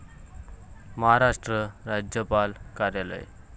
महाराष्ट्र राज्यपाल कार्यालय.